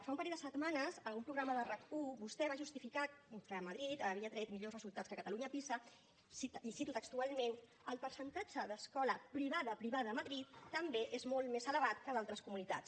fa un parell de setmanes a un programa de rac1 vostè va justificar que madrid havia tret millors resultats que catalunya a pisa i cito textualment el percentatge d’escola privada privada a madrid també és molt més elevat que a d’altres comunitats